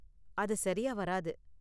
அது சரியா வராது.